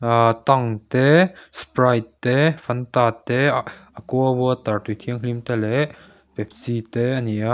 aaa tang te sprite te fanta te ahh aqua water tui thianghlim te leh pepsi te a ni a.